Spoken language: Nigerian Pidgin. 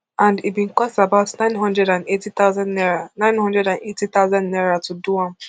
and e bin cost about nine hundred and eighty thousand naira nine hundred and eighty thousand naira to do am